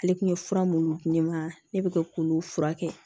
Ale kun ye fura minnu di ma ne bɛ ka k'olu furakɛ